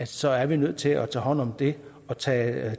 så er vi nødt til at tage hånd om det og tage